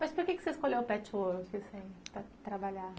Mas por que você escolheu o patchwork assim para trabalhar?